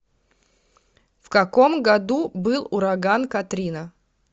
в каком году был ураган катрина